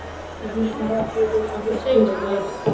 Mér finnst hann vaka yfir okkur, litlu fjölskyldunni.